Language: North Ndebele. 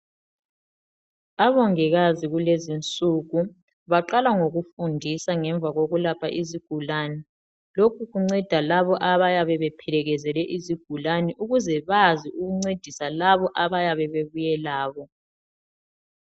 Omongikazi kulezinsuku baqala ngokufundisa ngemva kokulapha izigulane; lokho kunceda labo abayabe bephelekezele izigulane ukuze bazi ukuncedisa labo abayabe bebuye labo.